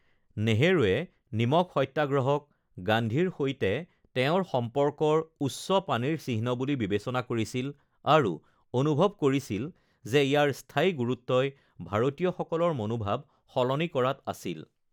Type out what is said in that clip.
নেহৰুৱে নিমখ সত্যাগ্ৰহক গান্ধীৰ সৈতে তেওঁৰ সম্পৰ্কৰ উচ্চ পানীৰ চিহ্ন বুলি বিবেচনা কৰিছিল, আৰু অনুভৱ কৰিছিল যে ইয়াৰ স্থায়ী গুৰুত্বই ভাৰতীয়সকলৰ মনোভাৱ সলনি কৰাত আছিল: